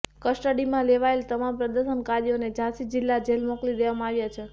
કસ્ટડીમાં લેવાયેલ તમામ પ્રદર્શનકારીઓને ઝાંસી જિલ્લા જેલ મોકલી દેવામાં આવ્યા છે